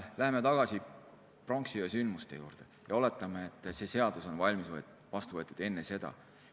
Läheme tagasi pronksiöö sündmuste juurde ja oletame, et see seadus oli vastu võetud enne seda.